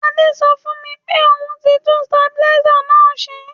Adé so fùn mi pe oun ti tun stabilizer náà se